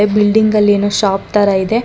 A- building ಅಲ್ಲೇನೋ shop ತರಾ ಇದೆ.